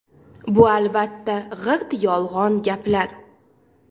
Bu albatta g‘irt yolg‘on gaplar.